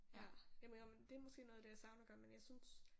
Ja jeg må indrømme at det er nok noget af det jeg savner at gøre men jeg synes